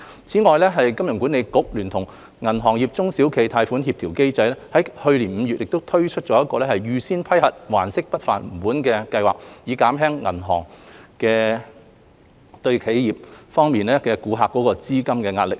此外，香港金融管理局聯同銀行業中小企貸款協調機制於去年5月推出"預先批核還息不還本"計劃，減輕銀行的企業客戶面對的資金壓力。